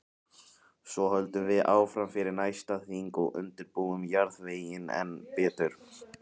Svo höldum við áfram fyrir næsta þing og undirbúum jarðveginn enn betur.